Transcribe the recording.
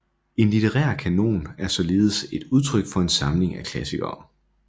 En litterær kanon er således et andet udtryk for en samling af klassikere